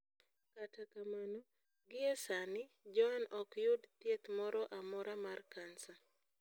Kata kamano, gie sani, Joan ok yud thieth moro amora mar kansa.